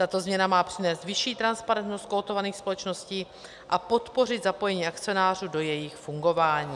Tato změna má přinést vyšší transparentnost kotovaných společností a podpořit zapojení akcionářů do jejich fungování.